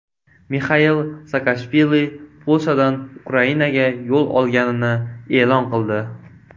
Mixail Saakashvili Polshadan Ukrainaga yo‘l olganini e’lon qildi.